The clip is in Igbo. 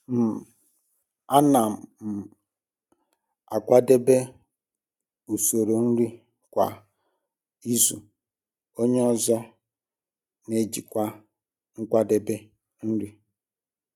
um Ana um m akwadebe usoro nri kwa um izu, onye ọzọ n'ejikwa nkwadebe nri.